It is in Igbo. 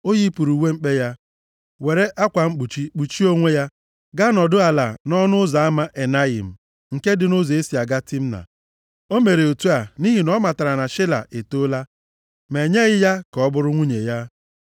O yipụrụ uwe mkpe ya, were akwa mkpuchi kpuchie onwe ya gaa nọdụ ala nʼọnụ ụzọ ama Enayim, nke dị nʼụzọ e si aga Timna. O mere otu a nʼihi na ọ matara na Shela etoola, ma enyeghị ya ka ọ bụrụ nwunye ya.